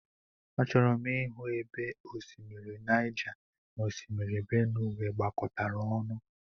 Achọrọ m ịhụ ebe osimiri Naija na Osimiri Benuwe gbakọtara ọnụ.